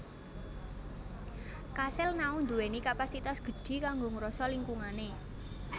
Kasil Nao ndhuwèni kapasitas gedhi kanggo ngroso lingkungané